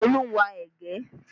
Olú ń wa ẹ̀gẹ́